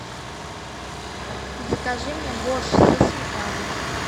закажи мне борщ со сметаной